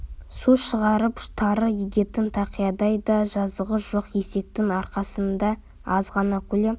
су шығарып тары егетін тақиядай да жазығы жоқ есектің арқасындай аз ғана көлем